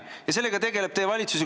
Ja sellega tegeleb teie valitsus.